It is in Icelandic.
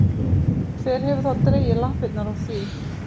Hver hefur þá dregið lappirnar í því?